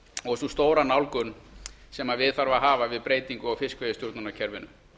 og sú stóra nálgun sem við þarf að hafa við breytingu á fiskveiðistjórnarkerfinu